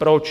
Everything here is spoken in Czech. Proč?